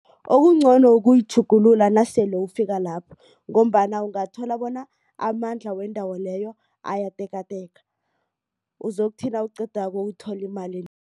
Okungcono kuyitjhugulula nasele ufika lapho ngombana ungathola bona amandla wendawo leyo ayatekateka uzokuthi nawuqeda uthole imali